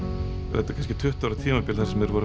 þetta er kannski tuttugu ára tímabil þar sem þeir voru